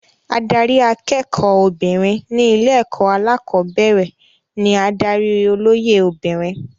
Adarí akẹ́kọ̀ọ́ obìnrin ní ilé-ẹ̀kọ́ alẹ́kọ̀ọ́bẹ̀rẹ̀ ní adarí olóyè obìnrin.